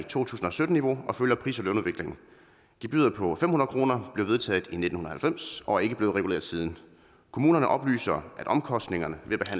to tusind og sytten niveau og følger pris og lønudviklingen gebyret på fem hundrede kroner blev vedtaget i nitten halvfems og er ikke blevet reguleret siden kommunerne oplyser at omkostningerne ved at